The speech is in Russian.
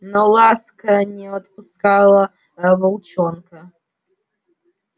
но ласка не отпускала волчонка